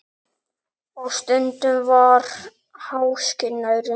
Og stundum var háskinn nærri.